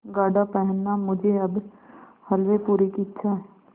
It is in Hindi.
गाढ़ा पहनना मुझे अब हल्वेपूरी की इच्छा है